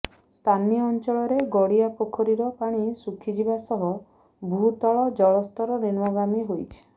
ସ୍ଥାନୀୟ ଅଞ୍ଚଳର ଗଡ଼ିଆ ପୋଖରୀର ପାଣି ଶୁଖିଯିବା ସହ ଭୂତଳ ଜଳସ୍ତର ନିମ୍ନଗାମୀ ହୋଇଛି